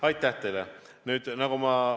Aitäh teile!